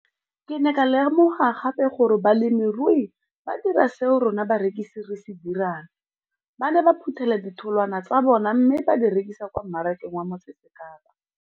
Ke ne ka lemoga gape gore balemirui ba dira seo rona barekisi re se dirang, ba ne ba phuthela ditholwana tsa bona mme ba di rekisa kwa marakeng wa Motsekapa.